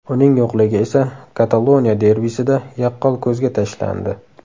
Uning yo‘qligi esa Kataloniya derbisida yaqqol ko‘zga tashlandi.